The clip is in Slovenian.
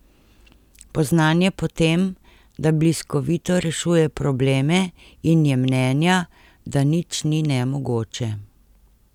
Poznan je po tem, da bliskovito rešuje probleme in je mnenja, da nič ni nemogoče.